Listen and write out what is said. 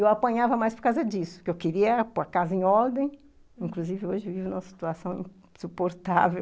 Eu apanhava mais por causa disso, porque eu queria pôr a casa em ordem, inclusive hoje vivo numa situação insuportável.